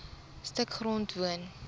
stuk grond woon